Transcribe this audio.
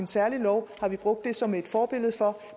særlig lov har vi brugt som et forbillede